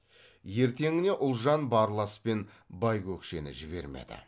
ертеңіне ұлжан барлас пен байкөкшені жібермеді